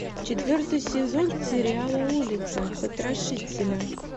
четвертый сезон сериала улица потрошителя